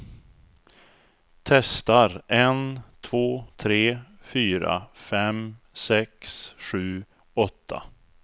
Testar en två tre fyra fem sex sju åtta.